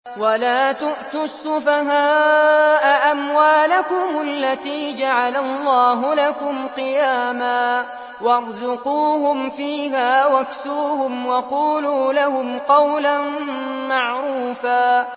وَلَا تُؤْتُوا السُّفَهَاءَ أَمْوَالَكُمُ الَّتِي جَعَلَ اللَّهُ لَكُمْ قِيَامًا وَارْزُقُوهُمْ فِيهَا وَاكْسُوهُمْ وَقُولُوا لَهُمْ قَوْلًا مَّعْرُوفًا